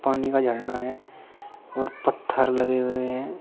पानी का झरना है और पत्थर लगे हुए हैं।